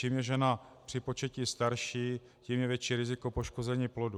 Čím je žena při početí starší, tím větší je riziko poškození plodu.